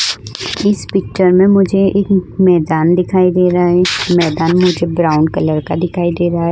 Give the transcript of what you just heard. इस पिक्चर में मुझे एक मैदान दिखाई दे रहा है मैदान मुझे ब्राउन कलर का दिखाई दे रहा है।